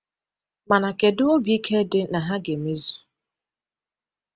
Mana kedu obi ike dị na ha ga-emezu?